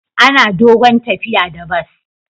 Ana dogon tafiya da bas.